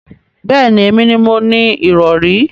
Bẹẹni, èmi ni mo ni irọ̀rí